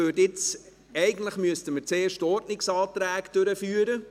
Denn eigentlich sollten wir zuerst die Ordnungsanträge behandeln.